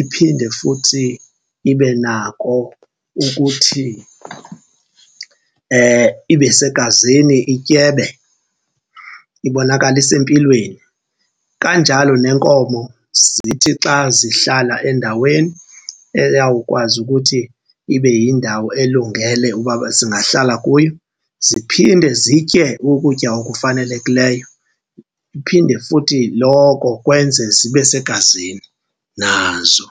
iphinde futhi ibe nako ukuthi ibe segazini ityebe, ibonakale isempilweni. Kanjalo neenkomo zithi xa zihlala endaweni eyawukwazi ukuthi ibe yindawo elungele uba zingahlala kuyo ziphinde zitye ukutya okufanelekileyo, iphinde futhi loko kwenze zibe segazini nazo.